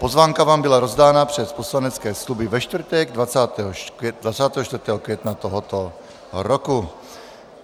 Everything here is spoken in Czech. Pozvánka vám byla rozdána přes poslanecké kluby ve čtvrtek 24. května tohoto roku.